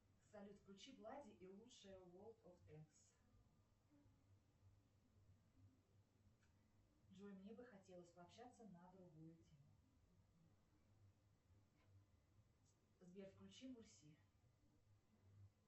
салют включи влади и лучшее ворд оф тэнкс джой мне бы хотелось пообщаться на другую тему сбер включи мурси